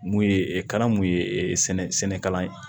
Mun ye kalan mun ye sɛnɛ sɛnɛka ye